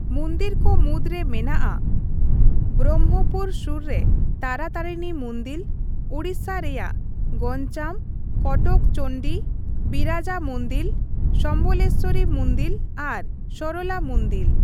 ᱢᱩᱱᱫᱤᱨ ᱠᱚ ᱢᱩᱫᱽᱨᱮ ᱢᱮᱱᱟᱜᱼᱟ ᱵᱨᱚᱢᱵᱷᱚᱯᱩᱨ ᱥᱩᱨ ᱨᱮ ᱛᱟᱨᱟᱛᱟᱨᱤᱱᱤ ᱢᱩᱱᱫᱤᱞ, ᱳᱲᱤᱥᱥᱟ ᱨᱮᱭᱟᱜ ᱜᱚᱧᱡᱟᱢ, ᱠᱚᱴᱚᱠ ᱪᱚᱱᱰᱤ, ᱵᱤᱨᱟᱡᱟ ᱢᱩᱱᱫᱤᱞ, ᱥᱚᱢᱞᱮᱥᱥᱚᱨᱤ ᱢᱩᱱᱫᱤᱞ ᱟᱨ ᱥᱚᱨᱚᱞᱟ ᱢᱩᱱᱫᱤᱞ ᱾